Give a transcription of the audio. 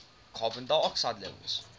carbon dioxide levels